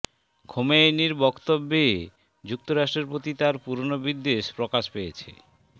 খোমেনীর বক্তব্যে যুক্তরাষ্ট্রের প্রতি তার পুরনো বিদ্বেষ প্রকাশ পেয়েছে